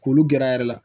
K'olu gɛrɛ a yɛrɛ la